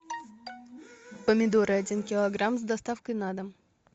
помидоры один килограмм с доставкой на дом